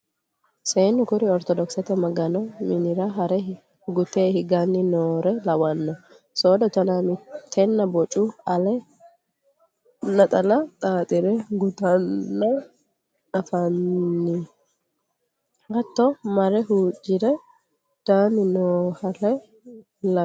Seennu kuri orthodokisete magano minira hare gute higanni noore lawano soodo tona mitenna bocu ale naxala xaxire guttannalla anfaninna hatto marre huuccire daani noohalla lawinoe.